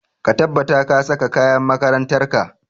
Ka tabbata ka saka kayan makarantar ka!